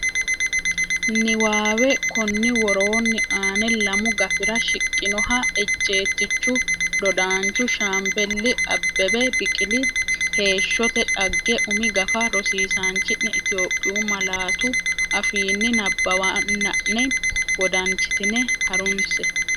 Niwaawe Konni woroonni aane lamu gafira shiqqinoha ejjeettichu dodaanchu Shaambeli Abbebe Biqili heeshsote dhagge umi gafa rosiisaanchi’ne Itophiyu malaatu afiinni nabbawanna’ne wodanchitine ha’runse.